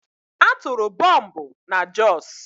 A tụrụ bọmbụ na Jos.